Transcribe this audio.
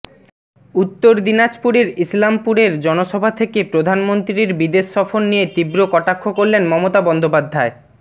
উত্তর দিনাজপুরের ইসলামপুরের জনসভা থেকে প্রধানমন্ত্রীর বিদেশসফর নিয়ে তীব্র কটাক্ষ করলেন মমতা বন্দ্যেপাধ্যায়